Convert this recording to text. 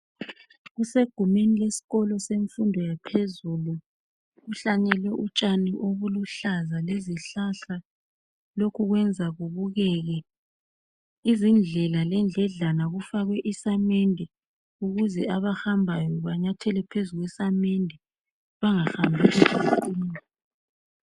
Kusegumeni lesikolo semfundo yaphezulu kuhlanyelwe utshani obuluhlaza lezihlahla lokhu kuyenza kubukeke. Izindlela lendledlana kufakwe isamende ukuze abahambayo banathele phezu kwesamende bengahambi bequma.